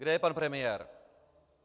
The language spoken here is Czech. Kde je pan premiér?